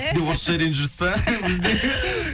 сіз де орысша үйреніп жүрсіз ба бізден